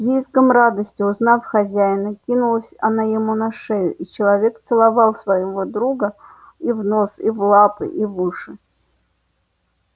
с визгом радости узнав хозяина кинулась она ему на шею и человек целовал своего друга и в нос и в лапы и в уши